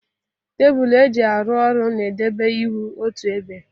Tebul e ji arụ orụ na-edebe ihe otu ebe.